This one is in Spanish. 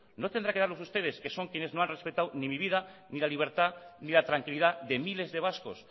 no tendrán que darlos ustedes que son quienes no han respetado ni mi vida ni la libertad ni la tranquilidad de miles de vascos